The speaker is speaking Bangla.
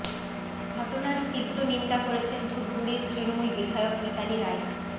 ঘটনার তীব্র নিন্দা করেছেন ধূপগুড়ির তৃণমূল বিধায়ক মিতালি রায়